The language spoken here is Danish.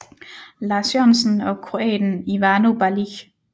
Lars Jørgensen og kroaten Ivano Balić